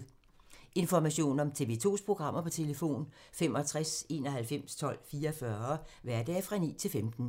Information om TV 2's programmer: 65 91 12 44, hverdage 9-15.